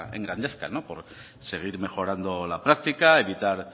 engrandezcan seguir mejorando la práctica evitar